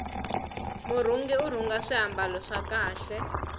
murhungi urhunga swimbalo swa kahle